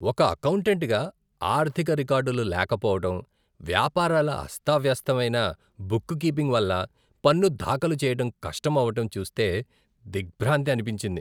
ఒక అకౌంటెంట్గా, ఆర్థిక రికార్డులు లేకపోవడం, వ్యాపారాల అస్తావ్యస్తమైన బుక్ కీపింగ్ వల్ల పన్ను దాఖలు చేయటం కష్టం అవటం చూస్తే దిగ్భ్రాంతి అనిపించింది.